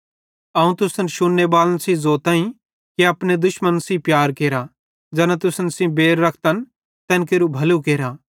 अवं तुसन शुन्नेबालन सेइं ज़ोताईं कि अपने दुश्मन सेइं प्यार केरा ज़ैना तुसन सेइं बैर रखतन तैन केरू भलू केरा